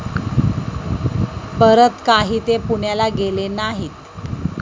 परत काही ते पुण्याला गेले नाहीत.